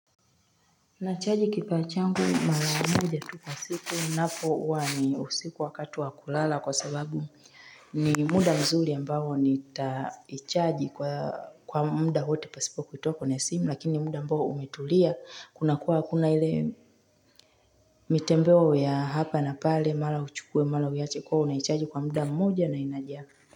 Nachaji kipaa changu mara moja tu kwa siku inapo uwa ni usiku wakati wa kulala kwa sababu ni muda mzuri ambao nitaichaji kwa muda wote pasipo kutoa kwenye simu lakini muda ambao umetulia kuna kuwa hakuna ile Mitembeo ya hapa na pale mala uchukue mala uyache kwao naichaaji kwa muda mmoja na inajaa.